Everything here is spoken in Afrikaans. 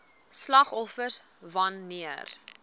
slagoffers wan neer